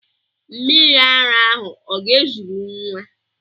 Mmiri ara ahụ ọ ga-ezuru nwa?